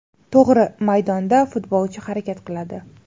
To‘g‘ri, maydonda futbolchi harakat qiladi.